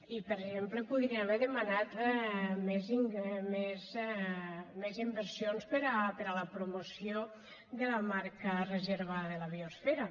i per exemple podria haver demanat més inversions per a la promoció de la marca reserva de la biosfera